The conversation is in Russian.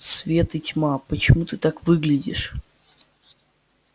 свет и тьма почему ты так выглядишь